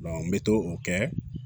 n bɛ to o kɛ